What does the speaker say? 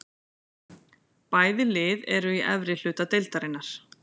Bæði lið eru í efri hluta deildarinnar.